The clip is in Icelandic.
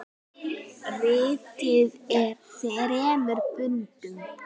Ritið er í þremur bindum.